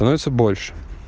давайте больше